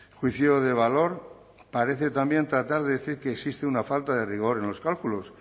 juicio de valor parece también tratar de decir que existe una falta de rigor en los cálculos